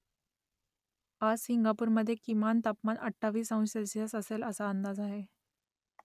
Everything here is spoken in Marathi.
आज सिंगापूरमधे किमान तापमान अठ्ठावीस अंश सेल्सिअस असेल असा अंदाज आहे